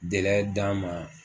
d'a ma